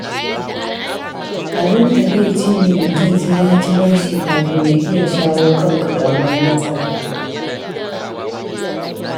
Abin takaici ne mutum sai ya ci bashi kafin ya iya shawo kan ƙaramar matsala.